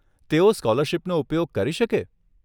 તેઓ સ્કોલરશીપનો ઉપયોગ કરી શકે?